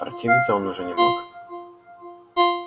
противиться он уже не мог